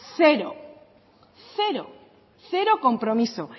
cero cero cero compromisos